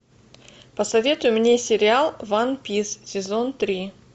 посоветуй мне сериал ван пис сезон три